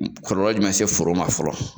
Kɔlɔlɔ jumɛn be se foro ma fɔlɔ